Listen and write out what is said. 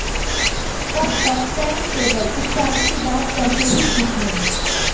तब तक फैन्स केवल इस शादी की बात करके ही खुश हैं